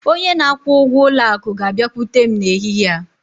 Onye na-akwụ ụgwọ ụlọ akụ ga-abịakwute m n'ehihie a.